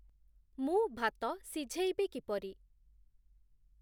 ମୁଁ ଭାତ ସିଝେଇବି କିପରି?